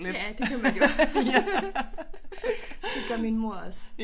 Ja det kan man jo ja det gør min mor også